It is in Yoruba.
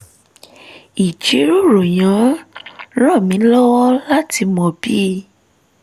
ìjíròrò yẹn ràn mí lọ́wọ́ láti mọ bí